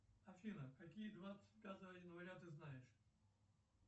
афина какие двадцать пятого января ты знаешь